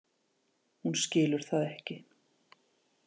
Hún skilur það ekki.